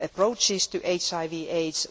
approaches to HIV AIDS.